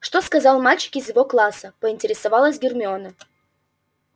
что сказал мальчик из его класса поинтересовалась гермиона